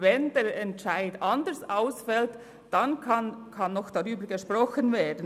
Wenn der Entscheid anders ausfällt, dann kann noch darüber gesprochen werden.